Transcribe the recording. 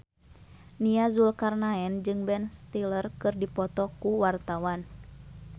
Nia Zulkarnaen jeung Ben Stiller keur dipoto ku wartawan